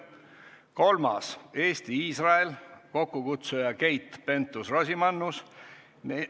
Kolmandaks, Eesti-Iisrael, kokkukutsuja on Keit Pentus-Rosimannus.